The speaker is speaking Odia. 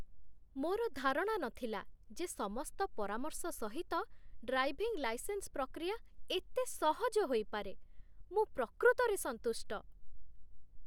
ମୋର ଧାରଣା ନଥିଲା ଯେ ସମସ୍ତ ପରାମର୍ଶ ସହିତ ଡ୍ରାଇଭିଂ ଲାଇସେନ୍ସ ପ୍ରକ୍ରିୟା ଏତେ ସହଜ ହୋଇପାରେ। ମୁଁ ପ୍ରକୃତରେ ସନ୍ତୁଷ୍ଟ!